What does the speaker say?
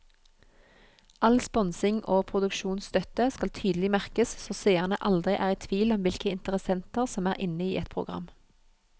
All sponsing og produksjonsstøtte skal tydelig merkes så seerne aldri er i tvil om hvilke interessenter som er inne i et program.